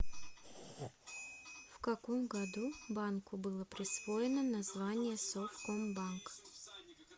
в каком году банку было присвоено название совкомбанк